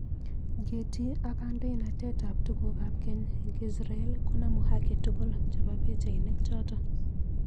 Getty ak kandoinatet ab tuguk ab keny eng israel konomu haki tugul chebo pichainik choto